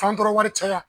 Fan tɔɔrɔ wari caya